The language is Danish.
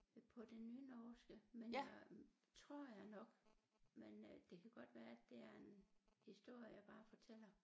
På det nynorske men øh tror jeg nok men øh det kan godt være det er en historie jeg bare fortæller